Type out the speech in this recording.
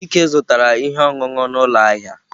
Chike zụtara ihe ọṅụṅụ n'ụlọ ahịa.